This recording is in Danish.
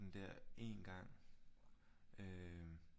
En gang øh